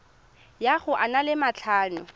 ya go a le matlhano